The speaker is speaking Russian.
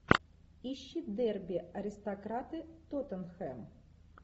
ищи дерби аристократы тоттенхэм